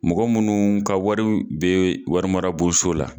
Mɔgɔ munnu ka wari bɛ warimarabonso la.